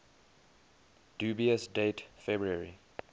dubious date february